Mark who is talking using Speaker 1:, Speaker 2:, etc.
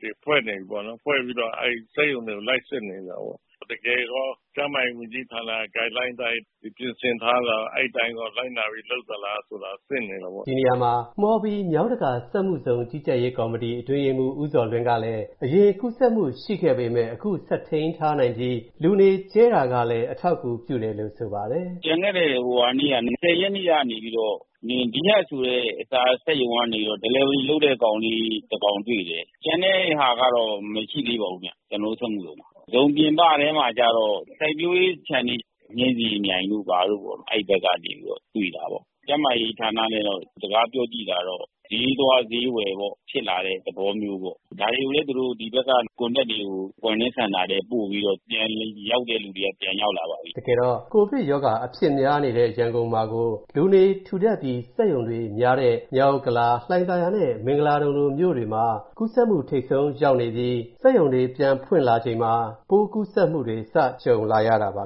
Speaker 1: တွေဖွဲ့နေပြီပေါ့နော်၊ ဖွဲ့ပြီးတော့ အဲ့ဒီစက်ရုံတွေကို လိုက်စစ်နေတာပေါ့။ တကယ်ရော ကျန်းမာရေးဝန်ကြီးဌာနရဲ့ Guideline အတိုင်း ဒီပြင်ဆင်ထားတာ၊ အဲ့ဒီအတိုင်းရော လိုက်နာပြီး လုပ်သလားဆိုတာ စစ်နေတာပေါ့။” ဒီနေရာမှာ
Speaker 2: မှော်ဘီမြို့၊ မြောင်းတကာစက်မူဇုံ ကြီးကြပ်ရေးကော်မတီ အတွင်းရေးမှူး ဦးဇော်လွင်ကလည်း၊ အရင်ကူးစက်မူရှိခဲ့ပေမဲ့ အခုဆက်ထိန်းထားနိုင်ပြီး၊ လူနေကျဲတာကလည်း အထောက်အကူပြုတယ်လို့ ဆိုပါတယ်။ “ကျန်
Speaker 1: ခဲ့တဲ့လ ၂၀ ရက်နေ့ကနေပြီးတော့၊ ဟိုနင်း၊ ဘီးလပ်ဆိုတဲ့ အစာစက်ရုံကနေပြီးတော့ Delivery လုပ်နေတဲ့ ကောင်လေး တစ်ယောက်တွေ့တယ်။ ကျန်တဲ့ဟာကတော့ မရှိသေးပါဘူး၊ ကျွန်တော်တို့ စက်မူဇုံမှာ။ ဇုံပြင်ပထဲမှာကျတော့၊ စိုက်ပျိုးရေးခြံတွေ၊ နှင်းဆီမြိုင်တို့ဘာတို့ပေါ့၊ အဲ့ဒီဘက်ကနေပြီးတော့ ပိုးတွေ့တာပေါ့။ ကျန်းမာရေးဌာနနဲ့တော့ စကားပြောကြည့်တာကတော့၊ ဈေးသွားဈေးဝယ်က ထိတွေ့ပြီး ဖြစ်လာတဲ့သဘောမျိုးပေါ့။ ဒါတွေကိုလည်း သူတို့၊ ဒီဖက်က Contact တွေကို Quarantine Center ထဲပို့ပြီးတော့၊ အဲ့ဒီကနေ ပြန်ရောက်တဲ့သူတွေက ရောက်လာပါပြီ
Speaker 2: ။” တကယ်တော့ ကိုဗစ်အဖြစ်များနေတဲ့ ရန်ကုန်မှာကို၊ လူနေပိုထူထပ်ပြီး စက်ရုံတွေလည်းများတဲ့ မြောက်ဥက္ကလာ၊ လှိုင်သာယာနဲ့ မင်္ဂလာဒုံမြို့တွေမှာ ကူးစက်မူထိပ်ဆုံးရောက်နေကာ စက်ရုံတွေပြန်ဖွင့်လာချိန် ခုလိုကူးစက်မူတွေ စကြုံလာရတာပါ